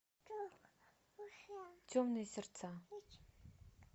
темные сердца